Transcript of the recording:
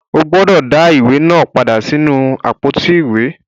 O gbúdọ̀ dá á ìwé náà padà sínú àpótí ìwé.